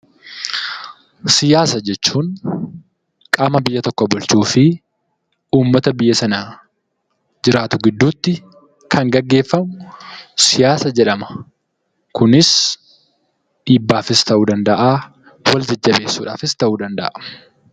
Siyaasa jechuun qaama biyya tokko bulchuu fi ummata biyya sana jiraatu gidduutti kan geggeeffamu siyaasa jedhama. Kunis dhiibbaafis ta'uu danda'aa; wal jajjabeessuudhaafis ta'uu danda'a.